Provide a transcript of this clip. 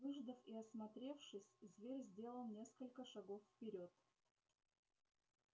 выждав и осмотревшись зверь сделал несколько шагов вперёд